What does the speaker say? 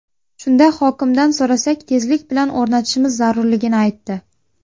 Shunda hokimdan so‘rasak, tezlik bilan o‘rnatishimiz zarurligini aytdi.